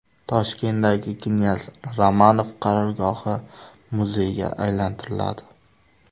Toshkentdagi knyaz Romanov qarorgohi muzeyga aylantiriladi.